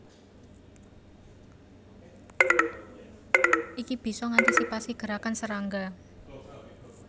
Iki bisa ngantisipasi gerakan serangga